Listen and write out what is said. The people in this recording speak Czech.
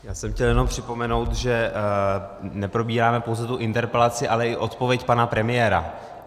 Já jsem chtěl jenom připomenout, že neprobíráme pouze tu interpelaci, ale i odpověď pana premiéra.